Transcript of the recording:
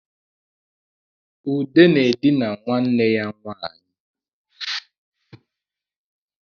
Ude na-edina nwanne ya nwanyị